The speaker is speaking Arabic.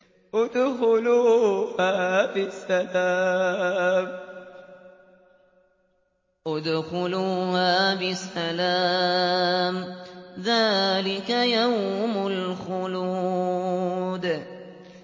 ادْخُلُوهَا بِسَلَامٍ ۖ ذَٰلِكَ يَوْمُ الْخُلُودِ